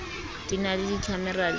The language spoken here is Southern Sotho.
di na le dikhamera le